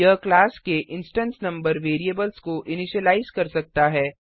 यह क्लास के instance number variables को इनिशिलाइज कर सकता है